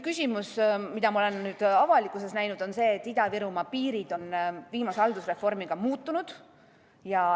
Küsimus, mida ma olen avalikkuses näinud, on see, et Ida-Virumaa piirid on viimase haldusreformiga muutunud.